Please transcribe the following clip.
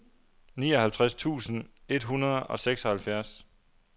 nioghalvtreds tusind et hundrede og seksoghalvfjerds